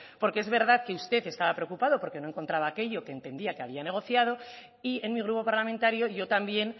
porque es verdad que usted estaba preocupado porque no encontraba aquello que entendía que había negociado y en mi grupo parlamentario yo también